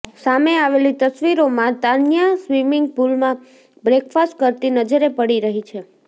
સામે આવેલી તસવીરોમાં તાન્યા સ્વીમિંગ પુલમાં બ્રેકફાસ્ટ કરતી નજરે પડી રહી છે